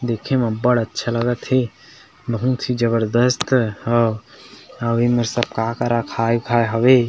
देखे में बढ़ अच्छा लगत हे बहुत ही जबरजस्त हे और एमेर सब का का रखाय उखाय हवे।